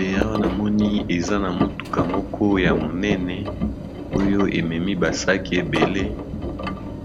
Eawa namoni eza na motuka moko ya monene oyo ememi ba sac ebele